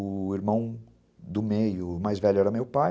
O irmão do meio, o mais velho, era meu pai.